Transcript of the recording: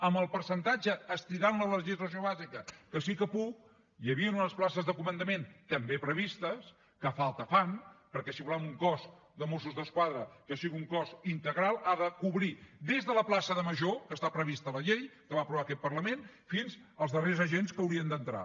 en el percentatge estirant la legislació bàsica que sí que puc hi havien unes places de comandament també previstes que falta fan perquè si volem que el cos de mossos d’esquadra sigui un cos integral ha de cobrir des de la plaça de major que està prevista a la llei que va aprovar aquest parlament fins als darrers agents que hi haurien d’entrar